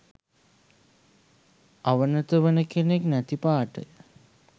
අවනත වන කෙනෙක් නැති පාටය